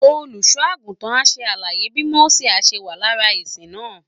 Olùṣọ́ àgùntàn á ṣe àlàyé bí Mósè á ṣe wà lára ìsìn náà